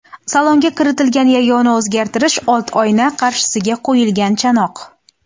Salonga kiritilgan yagona o‘zgartirish old oyna qarshisiga qo‘yilgan chanoq.